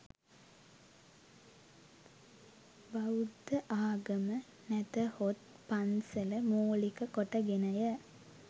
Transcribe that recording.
බෞද්ධ ආගම නැතහොත් පන්සල මූලික කොට ගෙනය.